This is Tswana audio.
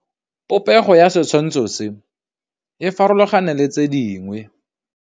Popêgo ya setshwantshô se, e farologane le tse dingwe.